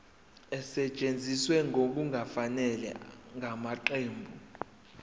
esetshenziswe ngokungafanele ngamaqembu